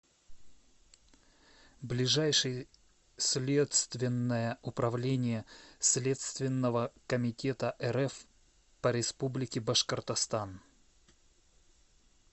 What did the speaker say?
ближайший следственное управление следственного комитета рф по республике башкортостан